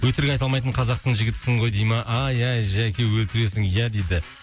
өтірік айта алмайтын қазақтың жігітісің ғой дей ма ай ай жәке өлтіресің ия дейді